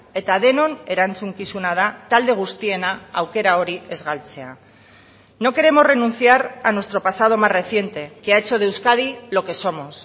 eta denon erantzukizuna da talde guztiena aukera hori ez galtzea no queremos renunciar a nuestro pasado más reciente que ha hecho de euskadi lo que somos